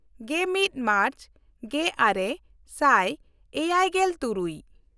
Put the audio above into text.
ᱜᱮᱢᱤᱫ ᱢᱟᱨᱪ ᱜᱮᱼᱟᱨᱮ ᱥᱟᱭ ᱮᱭᱟᱭᱜᱮᱞᱼᱛᱩᱨᱩᱭ